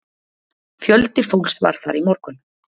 Fjöldi fólks var þar í morgun